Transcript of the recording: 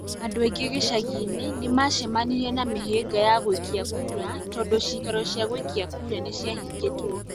Andũ aingĩ gĩcagi-inĩ nĩ maacemanirie na mĩhĩnga ya gũikia kura tondũ ciikaro cia gũikia kura nĩ ciahingũtwo.